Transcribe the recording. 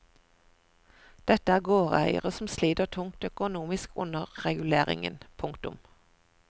Dette er gårdeiere som sliter tungt økonomisk under reguleringen. punktum